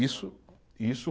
Isso, isso